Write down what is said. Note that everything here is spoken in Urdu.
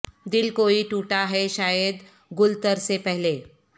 دل کوئی ٹوٹا ہے شاید گل تر سے پہلے